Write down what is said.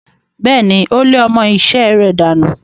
Bẹ́ẹ̀ni, ó lé ọmọ-isẹ́ rẹ̀ dànù.